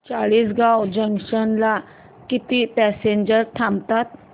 Chalisgaon junction ला किती passengers थांबतात